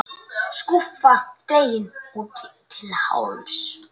Skúffa dregin út til hálfs.